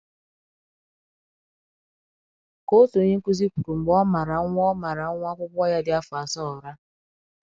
Ka òtù onye nkụzi kwuru mgbe ọ màrà nwa ọ màrà nwa akwụkwọ ya dị afọ asaa ụra.